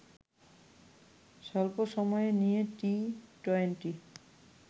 স্বল্প সময়ে নিয়ে টি-টোয়েন্টি